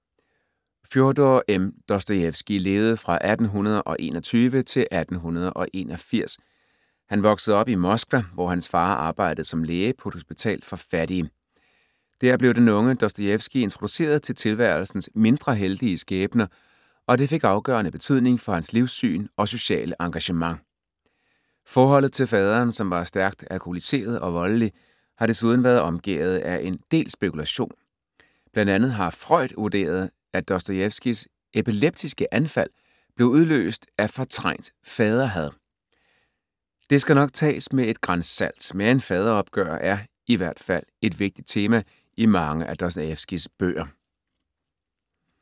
Fjodor M. Dostojevskij levede fra 1821-1881. Han voksede op i Moskva, hvor hans far arbejdede som læge på et hospital for fattige. Der blev den unge Dostojevskij introduceret til tilværelsens mindre heldige skæbner, og det fik afgørende betydning for hans livssyn og sociale engagement. Forholdet til faderen, som var stærkt alkoholiseret og voldelig, har desuden været omgærdet af en del spekulation. Blandt andet har Freud vurderet, at Dostojevskijs epileptiske anfald blev udløst af fortrængt faderhad. Det skal nok tages med et gran salt, men faderopgør er i hvert fald et vigtigt tema i mange af Dostojevskijs bøger.